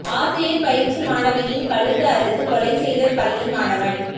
ஆசிரியர் பயிற்சி மாணவியின் கழுத்து அறுத்து கொலை செய்த பள்ளி மாணவன்